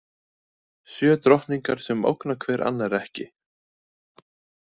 Sjö drottningar sem ógna hver annarri ekki.